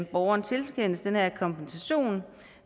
borgeren tilkendes den her kompensation